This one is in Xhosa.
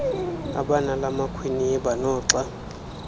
abanala makhwiniba noxa